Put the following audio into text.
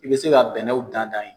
I bɛ se ka bɛnɛw dan-dan yen